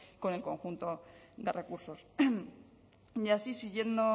con el conjunto de recursos y así siguiendo